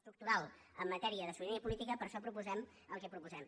estructural en matèria de sobirania política per això proposem el que proposem